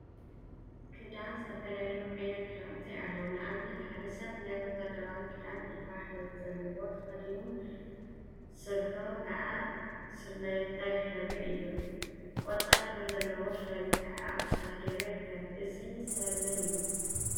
ክዳን ዝተፈላለዩ ዓይነት ክዳውንቲ አለው፡፡ ንአብነት ሓደ ሰብ ናይ ወታደራዊ ክዳን ዒባ ሕብሪ ዘለዎ ተከዲኑ ስሪኡ ከዓ ስርናየታይ ሕብሪ አለዎ፡፡ ቆፃል ሕብሪ ዘለዎ ሸሪጥ ከዓ አብ ክሳዱ ገይሩ ይርከብ፡፡ እዚ ሰብ መን እዩ?